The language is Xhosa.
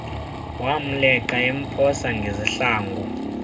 wamleqa emphosa ngezihlangu